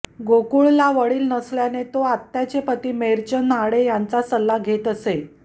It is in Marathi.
गोकुळला वडील नसल्याने तो आत्याचे पती मेरचंद आडे यांचा सल्ला घेत असे